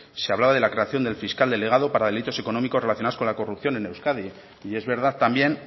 se hablaba de la creación del fiscal delegado para delitos económicos relacionados con la corrupción en euskadi y es verdad también